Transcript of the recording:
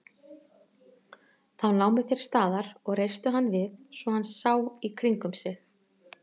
Þá námu þeir staðar og reistu hann við svo hann sá í kringum sig.